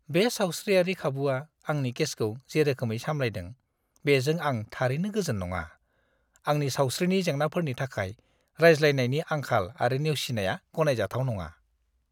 बे सावस्रियारि खाबुआ आंनि केसखौ जे रोखोमै सामलायदों, बेजों आं थारैनो गोजोन नङा। आंनि सावस्रिनि जेंनाफोरनि थाखाय रायज्लायनायनि आंखाल आरो नेवसिनाया गनायजाथाव नङा।